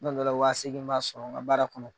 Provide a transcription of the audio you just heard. Kuma dɔ la, waa seegi n b'a sɔrɔ n k'a baara kɔnɔ.